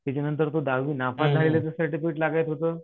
त्याच्यानंतर त दहावी नापास झालेलाच सर्टिफिकेट लागत होतं